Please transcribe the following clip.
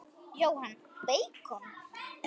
Jóhann: Beikon?